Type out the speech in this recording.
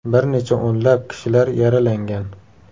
Bir necha o‘nlab kishilar yaralangan.